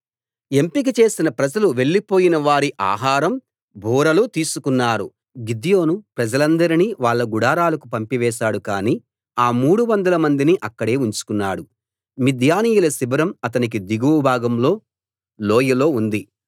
ఎంపిక చేసిన ప్రజలు వెళ్లిపోయినవారి ఆహారం బూరలు తీసుకున్నారు యెహోషువా ప్రజలందరినీ వాళ్ళ గుడారాలకు పంపివేశాడు కాని ఆ మూడువందల మందిని అక్కడే ఉంచుకున్నాడు మిద్యానీయుల శిబిరం అతనికి దిగువ భాగంలో లోయలో ఉంది